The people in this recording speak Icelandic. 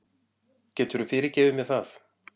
Geturðu fyrirgefið mér það?